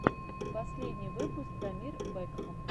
последний выпуск дамир бэкхам